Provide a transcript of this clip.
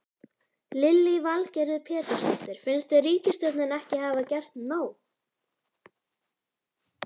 Lillý Valgerður Pétursdóttir: Finnst þér ríkisstjórnin ekki hafa gert nóg?